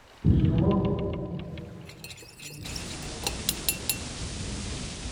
etudungoki mia are te olmushaara peyie etaisheiki SHA